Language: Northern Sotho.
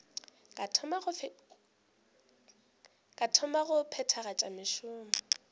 ka thoma go phethagatša mešomo